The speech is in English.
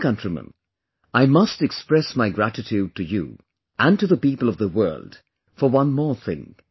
My dear countrymen, I must express my gratitude to you and to the people of the world for one more thing